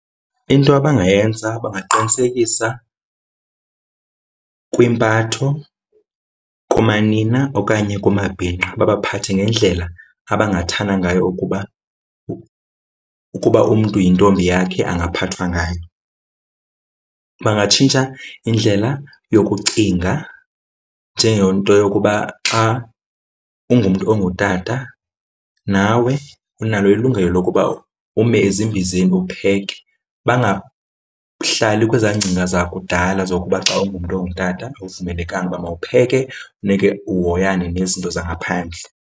Into abangayenza bangaqinisekisa kwimpatho kumanina okanye kumabhinqa, babaphathe ngendlela abangayithanda ngayo ukuba ukuba umntu yintombi yakhe angaphathwa ngayo. Bangatshintsha indlela yokucinga njengento yokuba xa ungumntu ongutata nawe unalo ilungelo lokuba ume ezimbizeni upheke. Bangahlali kwezaa ngcinga zakudala zokuba xa ungumntu ongutata awuvumelekanga uba mawupheke, funeke uhoyakale nezinto zangaphandle.